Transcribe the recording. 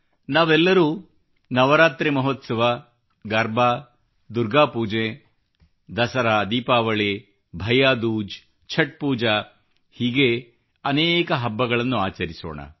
ನಾವೆಲ್ಲರೂ ನವರಾತ್ರಿ ಮಹೋತ್ಸವ ಗರ್ಬಾ ದುರ್ಗಾ ಪೂಜೆ ದಸರಾ ದೀಪಾವಳಿ ಭೈಯ್ಯಾ ದೂಜ್ ಛಟ್ ಪೂಜಾ ಹೀಗೇ ಅನೇಕ ಹಬ್ಬಗಳನ್ನು ಆಚರಿಸೋಣ